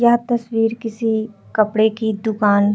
यह तस्वीर किसी कपड़े की दुकान --